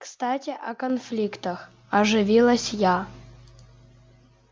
кстати о конфликтах оживилась я